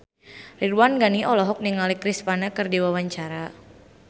Ridwan Ghani olohok ningali Chris Pane keur diwawancara